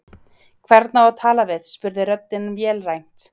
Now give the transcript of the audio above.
Hvern á að tala við? spurði röddin vélrænt.